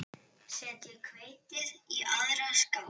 Setjið hveitið í aðra skál.